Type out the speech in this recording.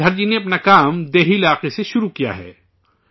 شری دھر جی نے اپنا کام دیہی علاقوں سے شروع کیا ہے